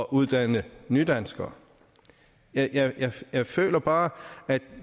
uddanne nydanskere jeg jeg føler bare at